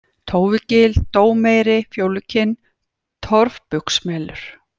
Tófugil, Dómeyri, Fjólukinn, Torfbugsmelur